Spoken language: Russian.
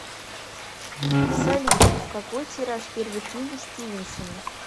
салют какой тираж первой книги стивенсона